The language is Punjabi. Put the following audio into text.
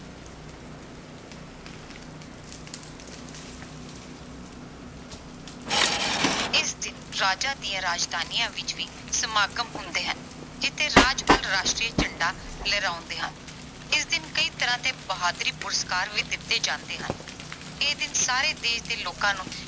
ਇਸ ਦਿਨ ਰਾਜਾਂ ਦੀਆਂ ਰਾਜਧਾਨੀਆਂ ਵਿੱਚ ਵੀ ਸਮਾਗਮ ਹੁੰਦੇ ਹਨ ਜਿਥੇ ਰਾਜਪਾਲ ਰਾਸ਼ਟਰੀ ਝੰਡਾ ਲਹਿਰਾਉਂਦੇ ਹਨ। ਇਸ ਦਿਨ ਕਈ ਤਰ੍ਹਾਂ ਦੇ ਬਹਾਦਰੀ ਪੁਰਸਕਾਰ ਵੀ ਦਿੱਤੇ ਜਾਂਦੇ ਹਨ। ਇਹ ਦਿਨ ਸਾਰੇ ਦੇਸ਼ ਦੇ ਲੋਕਾਂ ਨੂੰ